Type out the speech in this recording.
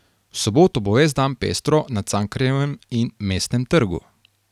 V soboto bo ves dan pestro na Cankarjevem in Mestnem trgu.